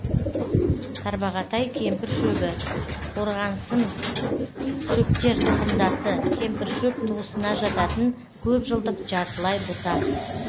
тарбағатай кемпіршөбі қорғасыншөптер тұқымдасы кемпіршөп туысына жататын көп жылдық жартылай бұта